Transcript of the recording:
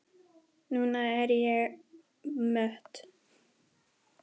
Núna er ég mött.